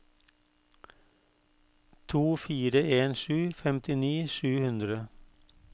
to fire en sju femtini sju hundre